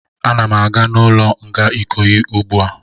Ana m aga n'ụlọ nga Ikoyi ugbu a